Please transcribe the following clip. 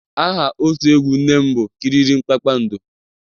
Aha otu egwu nne m bụ kiriri kpakpando